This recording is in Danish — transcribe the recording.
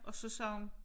Og så sagde hun